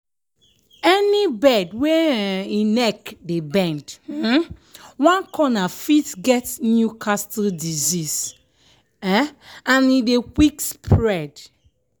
any bird wey um e neck dey bend um one corner fit get newcastle disease um and e dey quick spread.